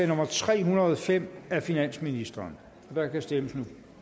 nummer tre hundrede og fem af finansministeren og der kan stemmes